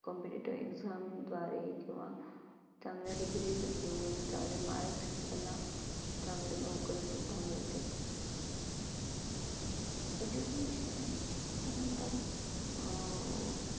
compititive exam द्वारे किंवा चांगल्या degrees घेऊन, चांगले marks चांगली नोकरी सुद्धा मिळते. education त्यानंतर अं